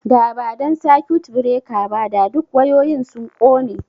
Da ba dan circuit breaker ba, da duk wayoyin sun kone